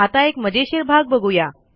आता एक मजेशीर भाग बघू या